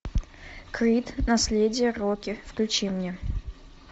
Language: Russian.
крид наследие рокки включи мне